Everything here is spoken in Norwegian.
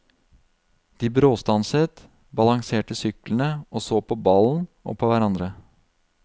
De bråstanset, balanserte syklene og så på ballen og på hverandre.